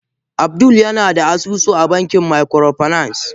Abdul yana da asusu a bankin microfinance.